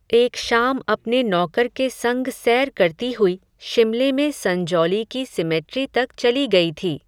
एक शाम अपने नौकर के संग सैर करती हुई, शिमले में संजौली की सिमेट्री तक चली गई थी